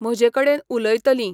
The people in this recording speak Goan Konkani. म्हजे कडेन उलयतलीं.